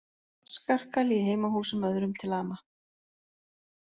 Skarkali í heimahúsum öðrum til ama